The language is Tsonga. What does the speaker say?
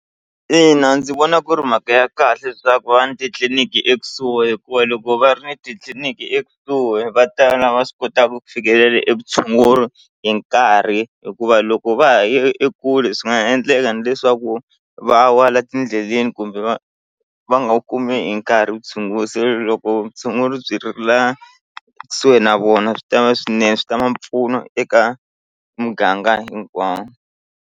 Ina ndzi vona ku ri mhaka ya kahle leswaku va ni titliniki ekusuhi hikuva loko va ri ni titliliniki ekusuhi va tala va swi kotaka ku fikelela e vutshunguri hi nkarhi hikuva loko va ha yi ekule swi nga endleka ni leswaku va wa la tindleleni kumbe va va nga wu kumi nkarhi vutshunguri loko vutshunguri byi ri la kusuhi na vona swi ta va swinene swi ta mpfuno eka muganga hinkwawo.